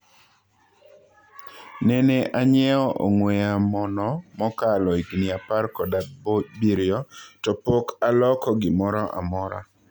"Nene anyiewo ong'wee yamo no mokalo higni apar kod abirio to pok aloko gimora mora.